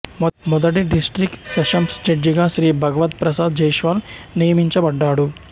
మొదటి district sessions జడ్జిగా శ్రీ భగవద్ ప్రసాద్ జైస్వాల్ నియమినచబడ్డాడు